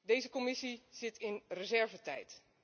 Deze Commissie zit in reservetijd.